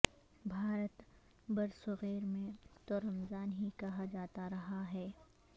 بھارت برصغیر میں تو رمضان ہی کہا جاتا رہا ہے